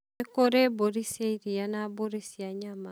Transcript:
nĩ kũri mbũri cia ĩrĩa na mbũri cia nyama